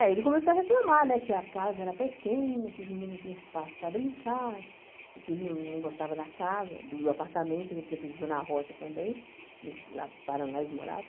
É, ele começou a reclamar, né, que a casa era pequena, que os meninos não tinham espaço para brincar, que ele não não gostava da casa, do apartamento, a gente sempre viveu na roça também, que lá Paraná eles moravam.